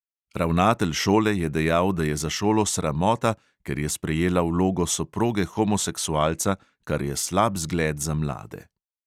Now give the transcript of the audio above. Ravnatelj šole je dejal, da je za šolo sramota, ker je sprejela vlogo soproge homoseksualca, kar je slab zgled za mlade.